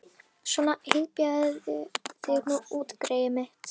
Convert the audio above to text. Svona, hypjaðu þig nú út, greyið mitt.